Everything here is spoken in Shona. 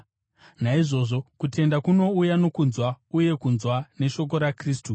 Naizvozvo, kutenda kunouya nokunzwa, uye kunzwa neshoko raKristu.